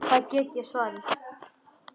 Það get ég svarið.